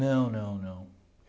Não, não, não.